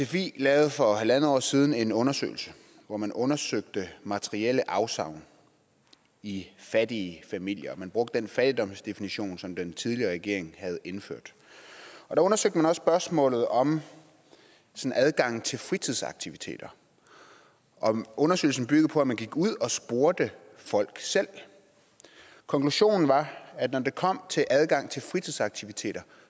sfi lavede for en halv år siden en undersøgelse hvor man undersøgte materielle afsavn i fattige familier man brugte den fattigdomsdefinition som den tidligere regering havde indført der undersøgte man også spørgsmålet om adgang til fritidsaktiviteter og undersøgelsen byggede på at man gik ud og spurgte folk selv konklusionen var at når det kom til adgang til fritidsaktiviteter